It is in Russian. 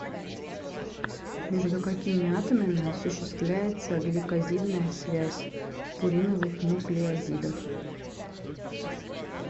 между какими атомами осуществляется гликозидная связь в пуриновых нуклеозидах